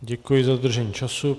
Děkuji za dodržení času.